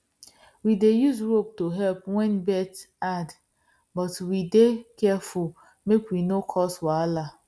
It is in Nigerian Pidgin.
we dey use rope to help when birth hard but we dey careful make we no cause wahala